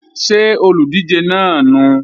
Ṣé olùdíje náà nùu?